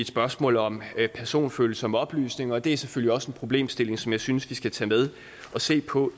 spørgsmål om personfølsomme oplysninger det er selvfølgelig også en problemstilling som jeg synes vi skal tage med og se på